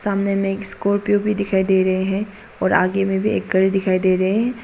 सामने में एक स्कॉर्पियो भी दिखाई दे रहे है और आगे में भी एक घर दिखाई दे रहे है।